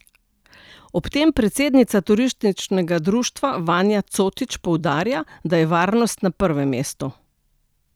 Ob tem predsednica turističnega društva Vanja Cotič poudarja, da je varnost na prvem mestu.